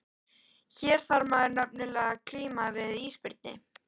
Hér þarf maður nefnilega að glíma við ísbirni!